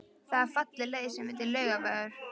Það er falleg leið sem heitir Laugavegur.